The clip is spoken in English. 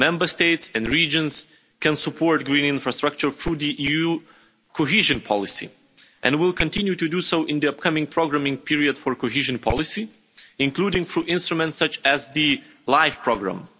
Member States and regions can support green infrastructure through the EU cohesion policy, and will continue to do so in the upcoming programming period for cohesion policy, including through instruments such as the LIFE programme.